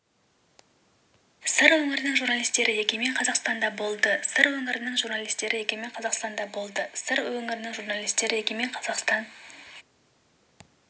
сыр өңірінің журналистері егемен қазақстанда болды сыр өңірінің журналистері егемен қазақстанда болды сыр өңірінің журналистері егемен